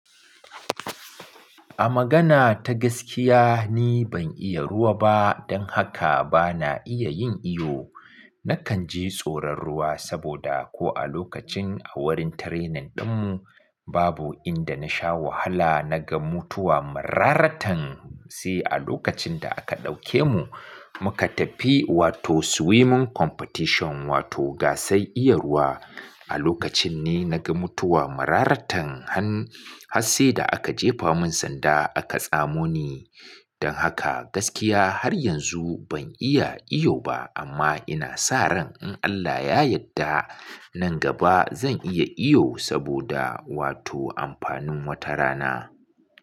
A magana ta gaskiya, ni ban iya ruwa ba don haka bana iya yin iyo. Nakan ji tsoron ruwa saboda ko a lokacin a wurin training dinmu babu inda na sha wahala na ga mutuwa mararatan. Sai a lokacin da aka ɗauke mu muka tafi wato swimming competition wato gasar iya ruwa. A lokacin ne na ga mutuwa mararatan han har sai da aka jefa mun sanda aka tsamo ni. Don haka gaskiya har yanzu ban iya iyo ba amma ina sa ran in Allah ya yadda nan gaba zan iya iyo saboda wato amfanin wata rana.